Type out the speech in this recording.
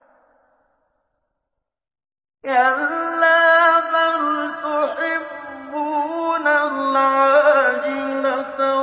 كَلَّا بَلْ تُحِبُّونَ الْعَاجِلَةَ